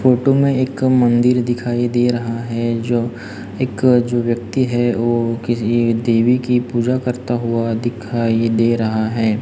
Photo में एक मंदिर दिखाई दे रहा है जो एक जो व्यक्ति है वो किसी देवी की पूजा करता हुआ दिखाई दे रहा है।